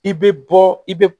I bɛ bɔ i bɛ